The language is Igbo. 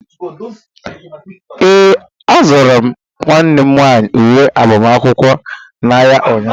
Ee, azụrụ m nwanne m nwaanyi uwe agbamakwụkwọ n'ahịa ụnyaahụ.